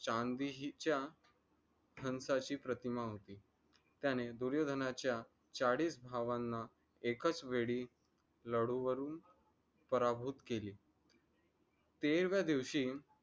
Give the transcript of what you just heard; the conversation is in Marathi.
चान्दिहीच्या शंखाची प्रतिमा होती. त्याने दुर्योधनाचा चाळीस भावांना एकाच वेळी लडूवरून पराभूत केली. तेराव्या दिवशी